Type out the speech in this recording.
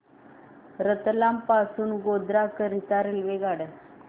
रतलाम पासून गोध्रा करीता रेल्वेगाड्या